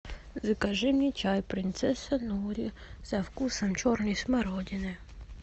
закажи мне чай принцесса нури со вкусом черной смородины